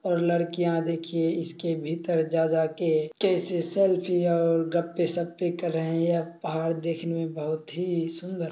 और लड़कियां देखिये इसके भीतर जा जाकेकैसे सेल्फ़िया और गप्पे शाप्पे कर रही हैं यह पहाड़ देखने में बहुत ही सुन्दर---